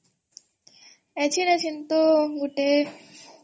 ଗୋଟେ